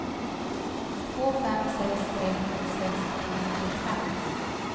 två fem sex tre sjuttiosex sjuhundrafyrtiofem